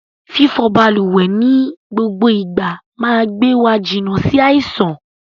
Fífọ balùwẹ̀ ni gbogbo ìgbà máa gbé wa jìnà sí àìsàn.